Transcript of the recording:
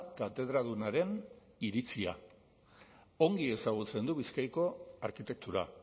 katedradunaren iritzia ongi ezagutzen du bizkaiko arkitektura